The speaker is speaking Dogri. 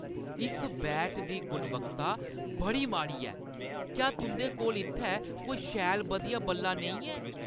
इस बैट दी गुणवत्ता बड़ी माड़ी ऐ। क्या तुंʼदे कोल इत्थै कोई शैल बधिया बल्ला नेईं है?